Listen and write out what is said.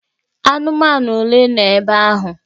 Anụmanụ ole nọ ebe ahụ?